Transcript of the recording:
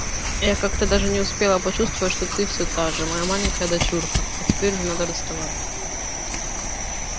я как-то даже не успела почувствовать что ты все та же моя маленькая дочурка а теперь уже надо расставаться